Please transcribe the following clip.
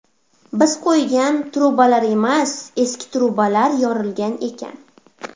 Biz qo‘ygan ‘truba’lar emas, eski ‘truba’lar yorilgan ekan.